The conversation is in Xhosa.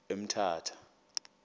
emthatha